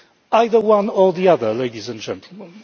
Either one or the other, ladies and gentlemen.